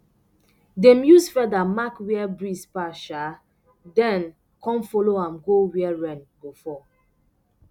dem use feather mark where breeze pass um then come follow am go where rain go fall